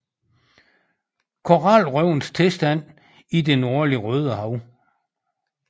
Koralrevenes tilstand i det nordlige Rødehav